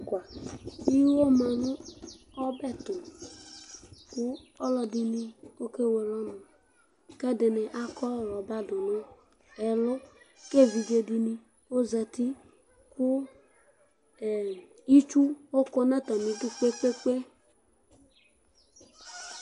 iwo ma nu ɔbɛ tu, ku ɔlɔdi ni oke wele ɔnu, ku ɛdini akɔ rɔba du nu ɛlu, ku evidze di ni ozati, ku ɛ itsu ɔkɔ nu ata mi udu kpekpekpe